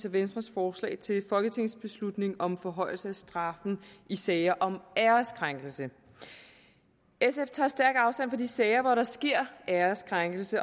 og venstres forslag til folketingsbeslutning om forhøjelse af straffen i sager om æreskrænkelse sf tager stærkt afstand fra de sager hvor der sker æreskrænkelse